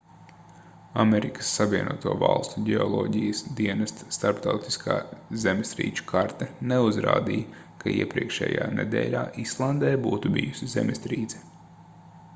amerikas savienoto valstu ģeoloģijas dienesta starptautiskā zemestrīču karte neuzrādīja ka iepriekšējā nedēļā islandē būtu bijusi zemestrīce